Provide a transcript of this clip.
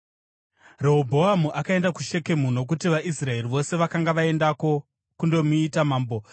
Rehobhoamu akaenda kuShekemu, nokuti vaIsraeri vose vakanga vaendako kundomuita mambo.